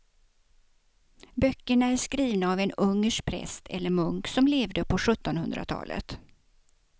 Böckerna är skrivna av en ungersk präst eller munk som levde på sjuttonhundratalet.